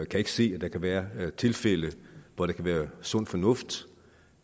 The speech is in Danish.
kan ikke se at der kan være tilfælde hvor det kan være sund fornuft